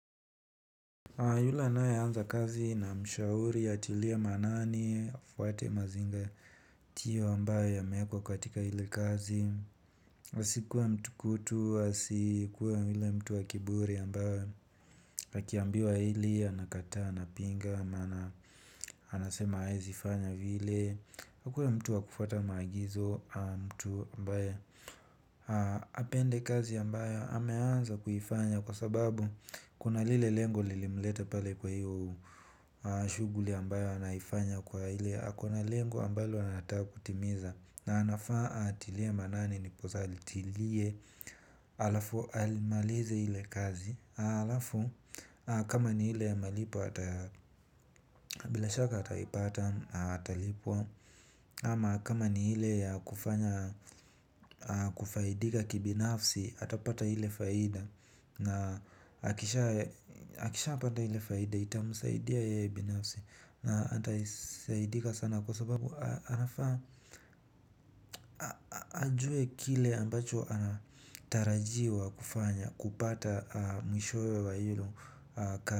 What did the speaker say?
Yule anaye anza kazi na mshauri atiliie maanani, afuate mazingatiyo ambayo ya meekwa katika hile kazi. Hasikuwe mtu kutu, asikuwa yule mtu wa kiburi ambaye akiambiwa hili, anakata, anapinga, anasema haezi fanya vile. Akuwe mtu wa kufuata maagizo mtu ambaye apende kazi ambayo ameanza kuifanya kwa sababu kuna lile lengo lilimleta pale kwa hiyo shughuli ambayo anaifanya kwa hile akona lengo ambalo anataka kutimiza na anafaa atilie maanani nipozali. Tilie alafu alimalize hile kazi alafu kama ni hile malipo atabila shaka atalipata. Atalipwa ama kama ni hile kufanya kufaidika kibinafsi. Atapata hile faida na akisha pata hile faida itamusaidia yeye binafsi na ataisaidika sana kwa sababu anafaa ajue kile ambacho anatarajiwa kufanya kupata mishowe wa iyo kazi.